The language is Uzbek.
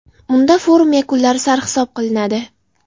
Unda forum yakunlari sarhisob qilinadi.